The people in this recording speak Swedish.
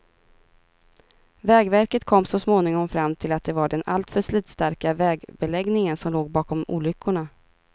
Vägverket kom så småningom fram till att det var den alltför slitstarka vägbeläggningen som låg bakom olyckorna.